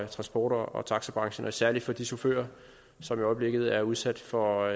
transport og taxabranchen særlig for de chauffører som i øjeblikket er udsat for